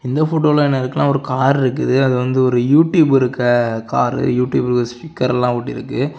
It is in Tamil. இந்த போட்டோல என்ன இருக்குன்னா ஒரு கார் இருக்கு அது வந்து ஒரு யூ டூப் இருக்க காரு யூ டூப் ஸ்பீக்கர்ல ஒட்டிற்கு.